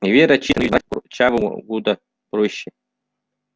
и вера чистая но её измарать курчавому куда проще